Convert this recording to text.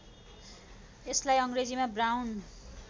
यसलार्इ अङ्ग्रेजीमा ब्राउन